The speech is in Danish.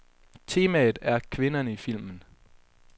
Temaet er kvinderne i filmen.